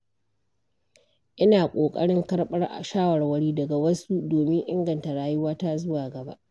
Ina ƙoƙarin karɓar shawarwari daga wasu domin inganta rayuwata zuwa gaba.